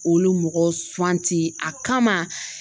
Olu mɔgɔw suwanti a kama.